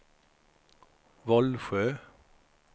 Vollsjö